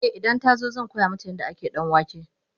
e idan ta zo zan koya mata yadda ake danwake